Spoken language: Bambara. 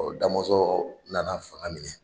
Damɔzɔ na na fanga minɛ.